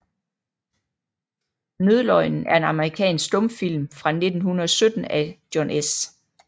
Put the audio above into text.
Nødløgnen er en amerikansk stumfilm fra 1917 af John S